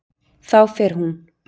Þá fer hún.